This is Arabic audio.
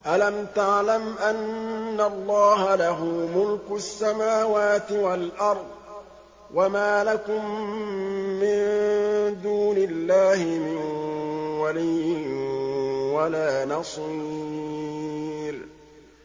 أَلَمْ تَعْلَمْ أَنَّ اللَّهَ لَهُ مُلْكُ السَّمَاوَاتِ وَالْأَرْضِ ۗ وَمَا لَكُم مِّن دُونِ اللَّهِ مِن وَلِيٍّ وَلَا نَصِيرٍ